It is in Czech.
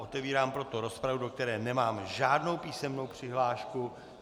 Otevírám proto rozpravu, do které nemám žádnou písemnou přihlášku.